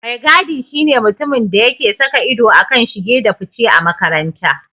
Mai gadi shi ne mutumin da yake saka ido a kan shige da fice a makaranta.